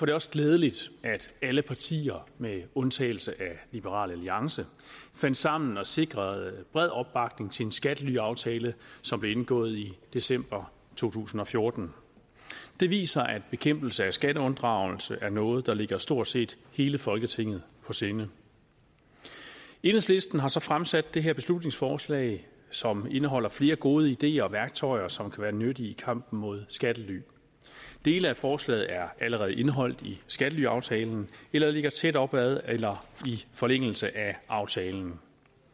det også glædeligt at alle partier med undtagelse af liberal alliance fandt sammen og sikrede bred opbakning til en skattelyaftale som blev indgået i december to tusind og fjorten det viser at bekæmpelse af skatteunddragelse er noget der ligger stort set hele folketinget på sinde enhedslisten har så fremsat det her beslutningsforslag som indeholder flere gode ideer og værktøjer som kan være nyttige i kampen mod skattely dele af forslaget er allerede indeholdt i skattelyaftalen eller ligger tæt op ad eller i forlængelse af aftalen